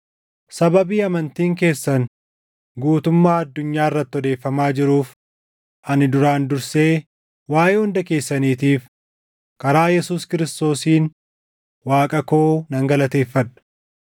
Sababii amantiin keessan guutummaa addunyaa irratti odeeffamaa jiruuf, ani duraan dursee waaʼee hunda keessaniitiif karaa Yesuus Kiristoosiin Waaqa koo nan galateeffadha.